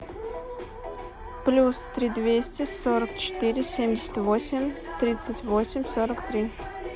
плюс три двести сорок четыре семьдесят восемь тридцать восемь сорок три